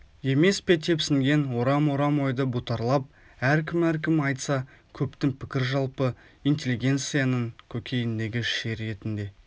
емес пе тепсінген орам-орам ойды бұтарлап әркім-әркім айтса көптің пікір жалпы интеллигенцияның көкейіндегі шер ретінде